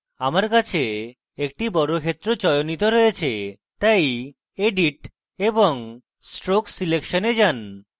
আমার কাছে একটি বর্গক্ষেত্র চয়নিত রয়েছে তাই edit এবং stroke selection a যান